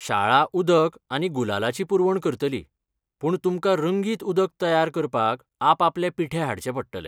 शाळा उदक आनी गुलालाची पुरवण करतली, पूण तुमकां रंगीत उदक तयार करपाक आपआपले पिठे हाडचे पडटले.